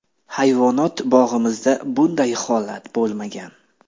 Hayvonot bog‘imizda bunday holat bo‘lmagan.